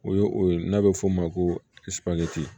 O ye o ye n'a bɛ f'o ma ko